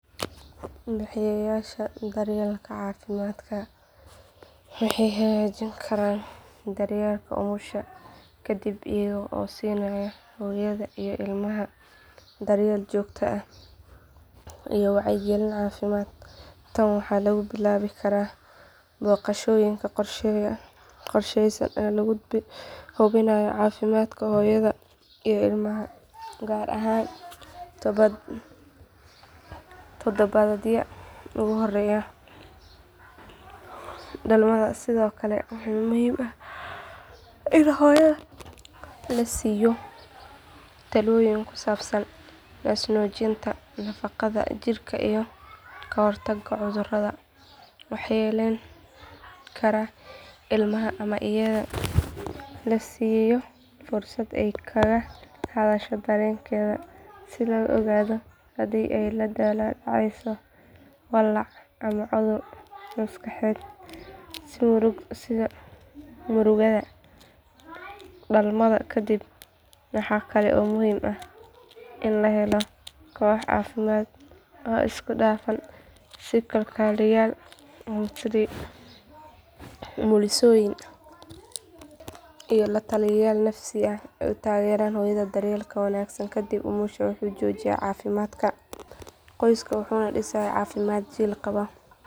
Bixiyayaasha daryeelka caafimaadka waxay hagaajin karaan daryeelka umusha ka dib iyaga oo siinaya hooyada iyo ilmaha daryeel joogto ah iyo wacyigelin caafimaad tan waxaa lagu bilaabi karaa booqashooyin qorsheysan oo lagu hubinayo caafimaadka hooyada iyo ilmaha gaar ahaan todobaadyada ugu horreeya dhalmada sidoo kale waa muhiim in hooyada la siiyo talooyin ku saabsan naasnuujinta nadaafadda jirka iyo ka hortagga cudurrada waxyeelayn kara ilmaha ama iyada la siiyo fursad ay kaga hadasho dareenkeeda si loo ogaado haddii ay la daalaa dhacayso walaac ama cudur maskaxeed sida murugada dhalmada kadib waxaa kale oo muhiim ah in loo helo koox caafimaad oo isku dhafan sida kalkaaliyeyaal umulisooyin iyo la taliyayaal nafsi si ay u taageeraan hooyada daryeelka wanaagsan kadib umusha wuxuu xoojinayaa caafimaadka qoysku wuxuuna dhisayaa jiil caafimaad qaba.